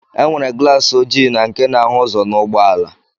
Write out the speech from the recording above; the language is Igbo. E nwere glaasi oji na nke na-ahụ ụzọ n'ụgbọala